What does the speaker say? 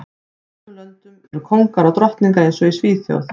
Í sumum löndum eru kóngar og drottningar eins og í Svíþjóð